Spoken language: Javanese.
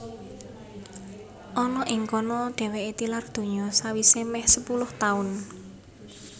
Ana ing kana dhèwèké tilar donya sawisé mèh sepuluh taun